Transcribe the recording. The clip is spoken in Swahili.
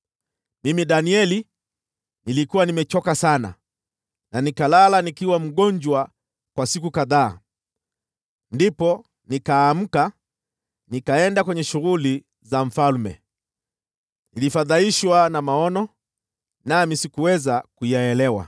Mimi Danieli nilikuwa nimechoka sana, na nikalala nikiwa mgonjwa kwa siku kadhaa. Ndipo nikaamka, nikaenda kwenye shughuli za mfalme. Nilifadhaishwa na maono hayo, nami sikuweza kuyaelewa.